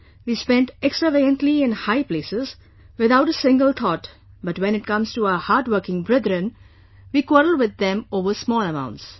We spend extravagantly in high places, without a single thought, but when it comes to our hardworking brethren, we quarrel with them over small amounts